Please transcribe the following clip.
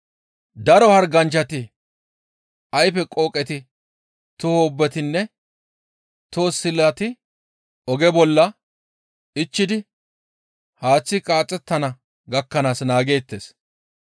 Daro harganchchati, ayfe qooqeti, toho wobbetinne toho silati oge bolla ichchidi haaththi qaaxettana gakkanaas naageettes.